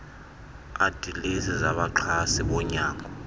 adilesi zabaxhasi bonyango